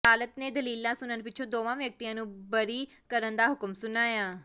ਅਦਾਲਤ ਨੇ ਦਲੀਲਾਂ ਸੁਣਨ ਪਿੱਛੋਂ ਦੋਵਾਂ ਵਿਅਕਤੀਆਂ ਨੂੰ ਬਰੀ ਕਰਨ ਦਾ ਹੁਕਮ ਸੁਣਾਇਆ